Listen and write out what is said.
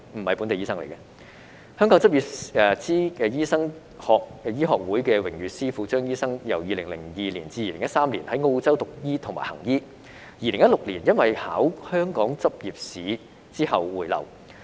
香港執照醫生醫學會榮譽司庫張醫生，由2002年至2013年在澳洲讀醫和行醫，在2016年因為考香港執業資格試回流。